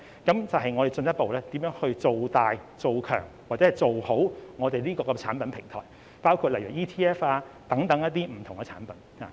那便是要進一步造大、造強、以及做好我們這個產品平台，例如 ETF 等不同產品。